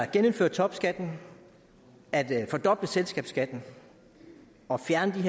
genindføre topskatten at fordoble selskabsskatten og fjerne